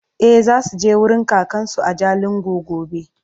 e zasuje wurin kakansu a jalingo gobe